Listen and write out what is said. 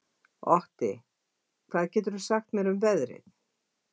Otti, hvað geturðu sagt mér um veðrið?